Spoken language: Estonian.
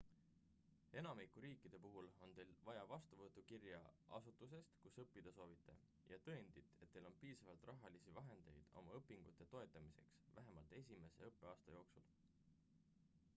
enamiku riikide puhul on teil vaja vastuvõtukirja asutusest kus õppida soovite ja tõendit et teil on piisavalt rahalisi vahendeid oma õpingute toetamiseks vähemalt esimese õppeaasta jooksul